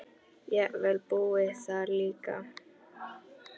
Jafnvel búið þar líka.